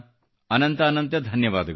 ಅನಂತ ಅನಂತ ಧನ್ಯವಾದಗಳು